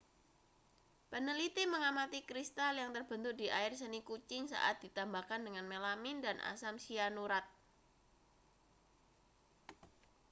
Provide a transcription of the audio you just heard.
peneliti mengamati kristal yang terbentuk di air seni kucing saat ditambahkan dengan melamin dan asam sianurat